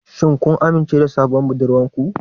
Shin kun amince da sabuwar budurwar ku?